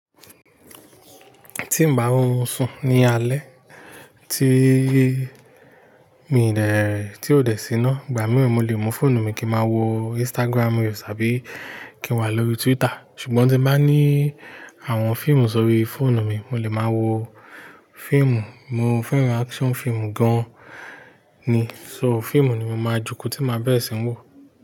Tí n bá rorun sùn ní alé, tí ó dè sí iná, ìgbà mì mo lè mú fóònù mi kí n máa wo Instagram reels àbí kí n wà lórí Twitter. Ṣùgbọ́n tí n bá ní àwọn fíìmù sórí fóònù mi, mo lè máa wo fíìmù. Mo fẹ́ràn action fíìmù gan ni, so fíìmù ni mo máa joko tí má berẹ ṣin wò.